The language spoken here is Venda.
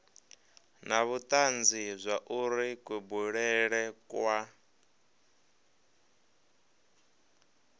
na vhutanzi zwauri kubulele kwa